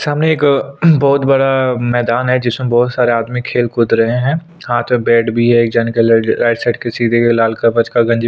सामने एक बहुत बड़ा मैदान है जिसमे बहुत सारा आदमी खेल कूद रहे है हाथ में बैट भी है एक झन के राइट साइड के लाल कलर का गंज--